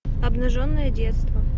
обнаженное детство